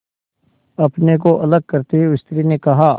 अपने को अलग करते हुए स्त्री ने कहा